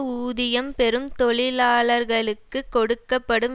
ஊதியம் பெறும் தொழிலாளர்களுக்கு கொடுக்க படும்